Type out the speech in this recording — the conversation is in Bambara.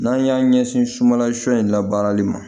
N'an y'an ɲɛsin malasɔn in labaarali ma